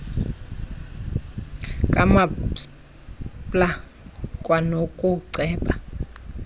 kamaspala kwanoku ceba